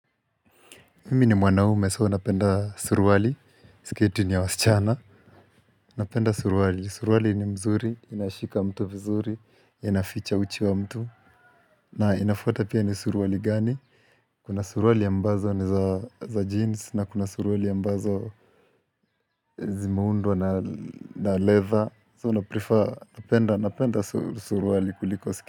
Mimi ni mwanaume so napenda suruali, sketi ni ya wasichana. Napenda suruali, suruali ni mzuri, inashika mtu vizuri, inaficha uchi wa mtu na inafaa ata pia ni suruali gani, kuna suruali ambazo ni za jeans na kuna suruali ambazo Zimeundwa na na leather, so naprefer napenda napenda suruali kuliko sketi.